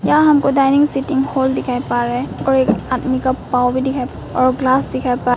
यहां हमको dining setting hall दिखाएं पा रहा है और एक आदमी का पाव भी दिखाई और ग्लास दिखाई प--